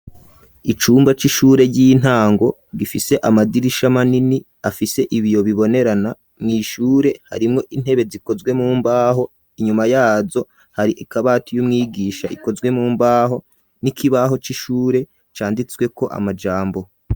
Icumba c'ishure ry'intango gifise amadirisha manini afise ibiyo bibonerana mw'ishure harimwo intebe zikozwe mumbaho inyuma yazo hari akabati k'umwigisha gakozwe mumbaho n'ikibaho c'ishure canditsweko amajambo.